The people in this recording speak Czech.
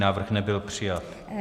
Návrh nebyl přijat.